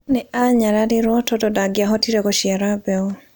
Nĩ aanyararirũo tondũ ndangĩahotire gũciara mbeũ.